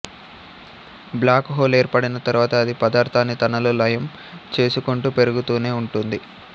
black hole ఏర్పడిన తర్వాత అది పదార్థాన్ని తనలో లయం చేసుకుంటూ పెరుగుతూనే ఉంటుంది